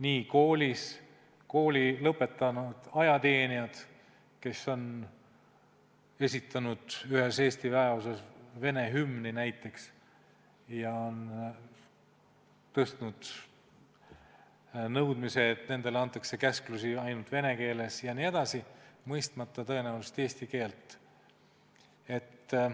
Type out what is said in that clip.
Näiteks, on kooli lõpetanud ajateenijaid, kes on esitanud ühes Eesti väeosas vene hümni ja tõstnud üles nõudmise, et nendele antaks käsklusi ainult vene keeles jne, tõenäoliselt mõistmata eesti keelt.